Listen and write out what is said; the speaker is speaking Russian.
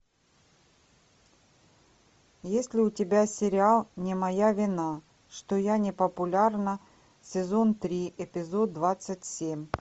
есть ли у тебя сериал не моя вина что я не популярна сезон три эпизод двадцать семь